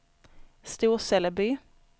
Storseleby